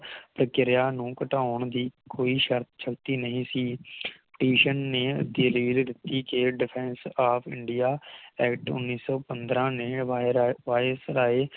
ਪ੍ਰਕਿਰਿਆ ਨੂੰ ਘਟਾਉਣ ਦੀ ਕੋਈ ਸ਼ਰਤ ਛੱਡੀ ਨਹੀਂ ਸੀ Petition ਨੇ Period Decate Defence Of India Act ਉਨ੍ਹੀ ਸੌ ਪੰਦ੍ਰਹ ਨੇ ਵਾਇ ਰਾਇ ਵਾਈਸ ਰਾਇ